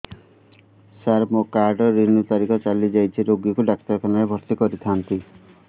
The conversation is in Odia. ସାର ମୋର କାର୍ଡ ରିନିଉ ତାରିଖ ଚାଲି ଯାଇଛି ରୋଗୀକୁ ଡାକ୍ତରଖାନା ରେ ଭର୍ତି କରିଥାନ୍ତି